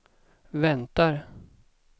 väntar